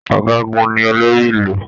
Ọgágun ní olórí Ìlú.